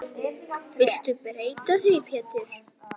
Viltu breyta því Pétur.